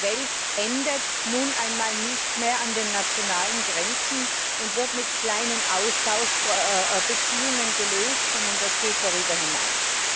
Die Welt endet nun einmal nicht mehr an den nationalen Grenzen, und die Probleme werden nicht mit kleinen Austauschbeziehungen gelöst, sondern das geht darüber hinaus.